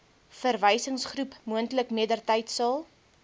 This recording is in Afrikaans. verwysingsgroep moontlik mettertydsal